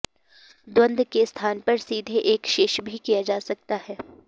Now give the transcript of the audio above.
द्वन्द्व के स्थान पर सीधे एकशेष भी किया जा सकता है